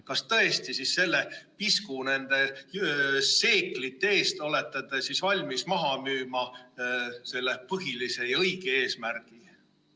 Kas tõesti selle pisku, nende seeklite eest olete te valmis maha müüma selle põhilise ja õige eesmärgi?